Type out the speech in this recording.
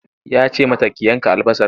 Ya ce mata ki yanka albasar!